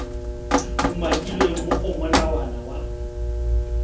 umakilweng mo go molawana wa